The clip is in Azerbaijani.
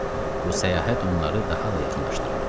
Bu səyahət onları daha da yaxınlaşdırırdı.